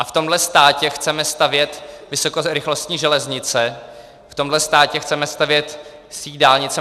A v tomhle státě chceme stavět vysokorychlostní železnice, v tomhle státě chceme stavět síť dálnic.